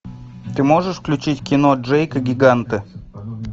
ты можешь включить кино джейк и гиганты